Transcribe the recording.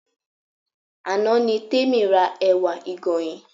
Àná ni Tèmi ra ẹ̀wà ìgànyìn